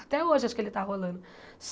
Até hoje acho que ele está rolando.